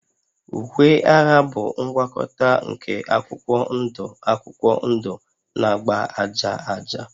Uwe agha bụ ngwakọta nke akwụkwọ ndụ akwụkwọ ndụ na agba aja aja